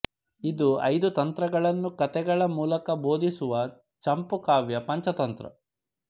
ಇದು ಐದು ತಂತ್ರಗಳನ್ನು ಕಥೆಗಳ ಮೂಲಕ ಬೋಧಿಸುವ ಚಂಪು ಕಾವ್ಯ ಪಂಚತಂತ್ರ